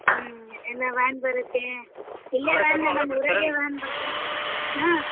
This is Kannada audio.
ಹ್ಮ್ ಎಲ್ಲಾ van ಬರುತ್ತೆ ಊರಲ್ಲೇ van ಬರುತ್ತ ಹ್ಮ್ .